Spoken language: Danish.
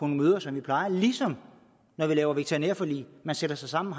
møder som vi plejer ligesom når vi laver veterinærforlig man sætter sig sammen